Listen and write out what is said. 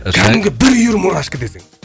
кәдімгі бір үйір мурашка десең